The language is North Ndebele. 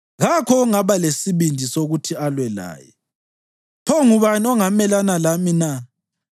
Kakho ongaba lesibindi sokuthi alwe laye. Pho ngubani ongamelana lami na?